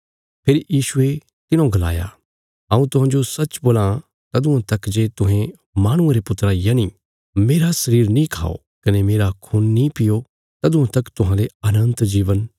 फेरी यीशुये तिन्हौ गलाया हऊँ तुहांजो सच्च बोलां तदुआं तक जे तुहें माहणुये रे पुत्रा रा यनि मेरा शरीर नीं खाओ कने मेरा खून नीं पीओ तदुआं तक तुहांले अनन्त जीवन नीं हूणा